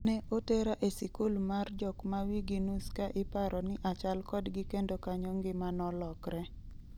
Ne otera e sikul mar jok ma wigi nus ka iparoni achal kodgi kendo kanyo ngima nolokre.